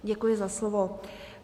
Děkuji za slovo.